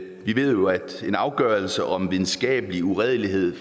vi ved jo at en afgørelse om videnskabelig uredelighed